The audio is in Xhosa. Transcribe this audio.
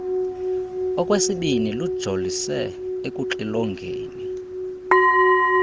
okwesibini lujolise ekuxilongeni